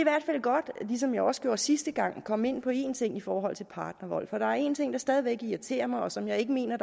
godt ligesom jeg også gjorde sidste gang komme ind på en ting i forhold til partnervold for der er én ting der stadig væk irriterer mig og som jeg ikke mener